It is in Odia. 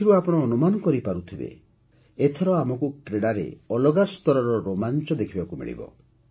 ଏଥିରୁ ଆପଣ ଅନୁମାନ କରିପାରୁଥିବେ ଏଥର ଆମକୁ କ୍ରୀଡ଼ାରେ ଅଲଗା ସ୍ତରର ରୋମାଞ୍ଚ ଦେଖିବାକୁ ମିଳିବ